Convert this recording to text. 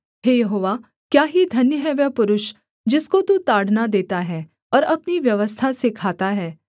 हे यहोवा क्या ही धन्य है वह पुरुष जिसको तू ताड़ना देता है और अपनी व्यवस्था सिखाता है